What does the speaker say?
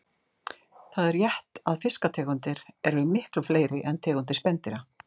Það er rétt að fiskategundir eru miklu fleiri en tegundir spendýra.